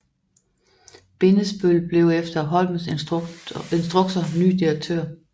Bindesbøll blev efter Holms instrukser ny direktør